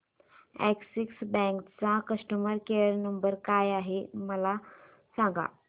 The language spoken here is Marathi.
अॅक्सिस बँक चा कस्टमर केयर नंबर काय आहे मला सांगा